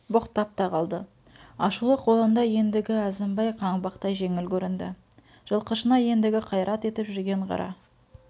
боқтап та қалды ашулы қолында ендігі әзімбай қаңбақтай жеңіл көрінді жылқышына ендігі қайрат етіп жүрген қара